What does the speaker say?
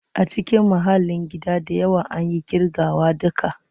A cikin mahallin gida da yawa, an yi ƙirgawa da ka.